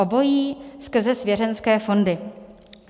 Obojí skrze svěřenské fondy.